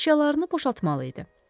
Əşyalarını boşaltmalı idi.